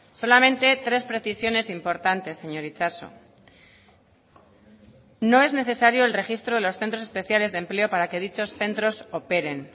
solamente tres precisiones importantes señor itxaso no es necesario el registro de los centros especiales de empleo para que dichos centros operen